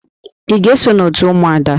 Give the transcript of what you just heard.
Ị ga-eso n'òtù ụmụada?